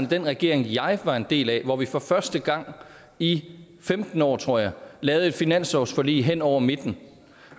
den regering jeg var en del af hvor vi for første gang i femten år tror jeg lavede et finanslovsforlig hen over midten